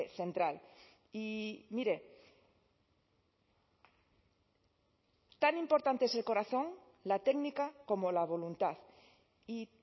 central y mire tan importante es el corazón la técnica como la voluntad y